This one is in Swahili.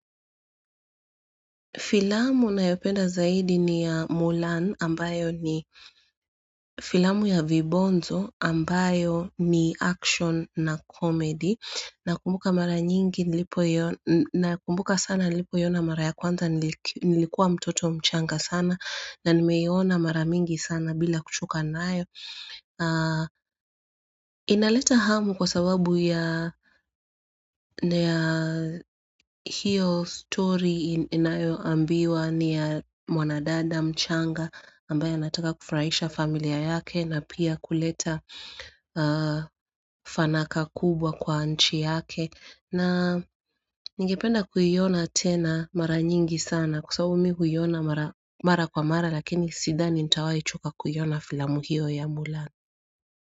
Filamu ninayopenda zaidi ni ya Mulan ambayo ni filamu ya Vibonzo ambayo ni action na comedy nakumbuka mara nyingi nakumbuka sana nilipoiona mara ya kwanza nilikuwa mtoto mchanga sana na nimeona mara mingi sana bila kochoka nayo. Inaleta hamu kwa sababu ya hiyo story inayoambiwa ni ya mwanadada mchanga ambaya anataka kufuraisha familia yake na pia kuleta fanaka kubwa kwa nchi yake na ningependa kuiona tena mara nyingi sana kwa sababu mi huiona mara kwa mara lakini sithani nitawahi choka kuiona filamu hiyo ya mulan.